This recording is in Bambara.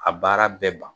A baara bɛɛ ban